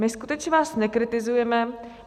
My skutečně vás nekritizujeme.